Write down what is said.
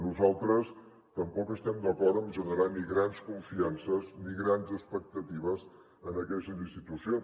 nosaltres tampoc estem d’acord en generar ni grans confiances ni grans expectatives en aquestes institucions